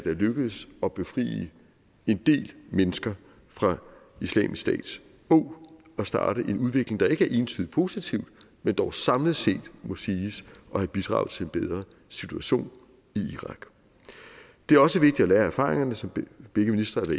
er lykkedes at befri en del mennesker fra islamisk stats åg og starte en udvikling der ikke er entydigt positiv men dog samlet set må siges at have bidraget til en bedre situation i irak det er også vigtigt at lære af erfaringerne som begge ministre har